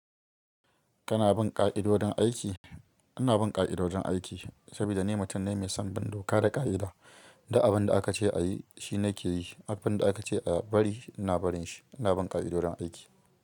Kana bin ƙa'idodin aiki? Ina bin ƙa'idojin aiki, saboda ni mutum ne mai son bin doka da ƙa'ida. Duk abin da aka ce a yi shi nake yi, abin da aka ce a bari ina barin shi. Ina bin ƙa'idojin aiki.